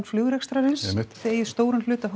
flugrekstrarins þið eigið stóran hluta